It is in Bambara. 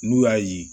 N'u y'a ye